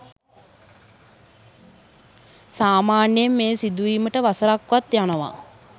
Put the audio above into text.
සාමාන්‍යයෙන් මෙය සිදුවීමට වසරක් වත් යනවා.